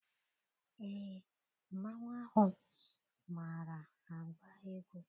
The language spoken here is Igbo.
Eé, mmanwụ ahụ maara agba egwu.